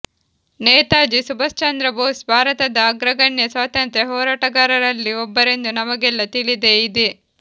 ನೇತಾಜಿ ಸುಭಾಷ್ಚಂದ್ರ ಬೋಸ್ ಭಾರತದ ಅಗ್ರಗಣ್ಯ ಸ್ವಾತಂತ್ರ ಹೋರಾಟಗಾರರಲ್ಲಿ ಒಬ್ಬರೆಂದು ನಮಗೆಲ್ಲ ತಿಳಿದೇ ಇದೆ